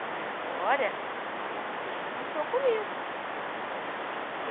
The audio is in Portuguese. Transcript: Mas agora, a consciência deixou comigo.